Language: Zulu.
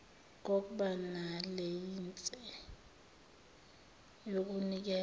kokba nelayinse yokunikeza